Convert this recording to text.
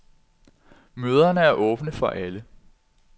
Møderne er åbne for alle.